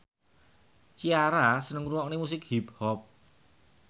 Ciara seneng ngrungokne musik hip hop